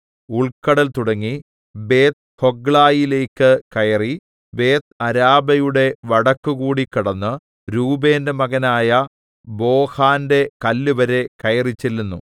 ഉൾക്കടൽ തുടങ്ങി ബേത്ത്ഹൊഗ്ലയിലേക്ക് കയറി ബേത്ത്അരാബയുടെ വടക്കുകൂടി കടന്ന് രൂബേന്റെ മകനായ ബോഹാന്റെ കല്ലുവരെ കയറിച്ചെല്ലുന്നു